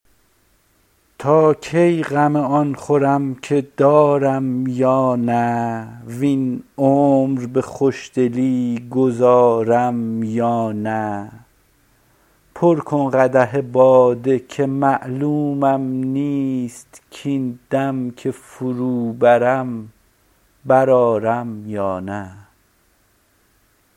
تا کی غم آن خورم که دارم یا نه وین عمر به خوشدلی گذارم یا نه پر کن قدح باده که معلومم نیست کاین دم که فرو برم بر آرم یا نه